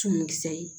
Tumu kisɛ ye